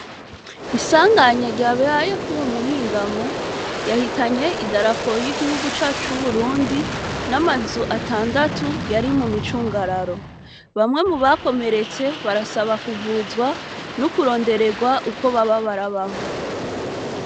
Isanganya ryabaye kwuyu muhingamo ryahitanye idarapo y'igihugu cacu c'Uburundi n'amazu atandatu yari mumicungararo. Bamwe mubakomeretse barasaba kuvuzwa no kurondererwa ukwo baba barabaho.